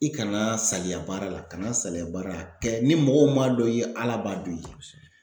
I kana saliya baara la kana salaya baara la a kɛ, ni mɔgɔw m'a dɔn i ye ala b'a dɔn i ye.